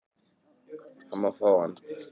Hann má fá hann